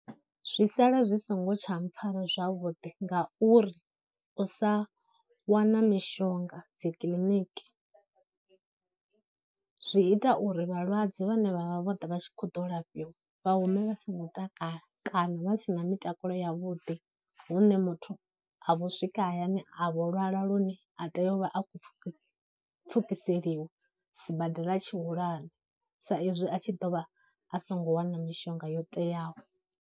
Zwi sala zwi songo tsha mpfhara zwavhuḓi ngauri u sa wana mishonga dzikiliniki zwi ita uri vhalwadze vhane vha vha vho ḓa vha tshi khou ḓa u lafhiwa vha hume vha songo takala kana vha sina mitakalo ya vhuḓi, hune muthu a vho swika hayani a vho lwala lune a tea u vha a khou pfhukiseliwa sibadela tshihulwane sa izwi a tshi ḓo vha a songo wana mishonga yo teaho.